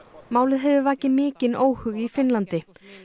málið hefur vakið mikinn óhug í Finnlandi